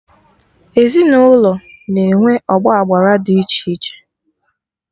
Ezinụlọ na-enwe ọgba agbara dị iche iche